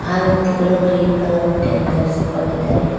ಆ ವ್ಯಕ್ತಿಗಳು green colour ಬಟ್ಟೆಯನ್ನು ಧರಿಸಿಕೊಂಡಿದ್ದಾರೆ.